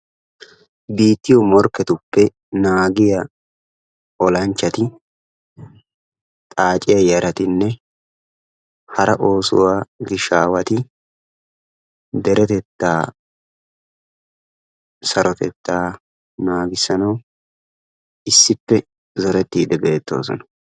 biittiyoo morkketuppe naagiyaa olanchchati xaacciya yaratinne hara oosanchchati hara oosuwaa gishaawati deretetta sarotettaa naagissanawu issippe zoretidde beettossona